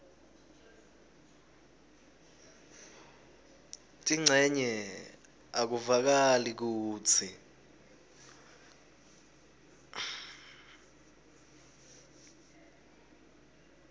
tincenye akuvakali kutsi